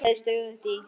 Hrærið stöðugt í.